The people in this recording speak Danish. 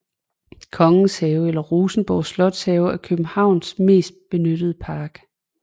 Kongens Have eller Rosenborg Slotshave er Københavns mest benyttede park